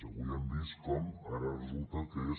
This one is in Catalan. avui hem vist com ara resulta que és